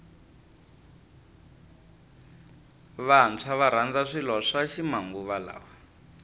vantshwa varandza swilo swa ximanguva lawa